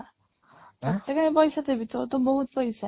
ତତେ କାଇଁ ପଇସା ଦେବି ତୋର ତ ବହୁତ ପଇସା